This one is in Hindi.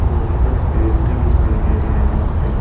बहुत सारे पेड़ भी दिखाई दे रहे हैं यहां पे।